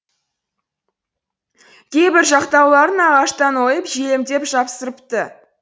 кейбір жақтауларын ағаштан ойып желімдеп жапсырыпты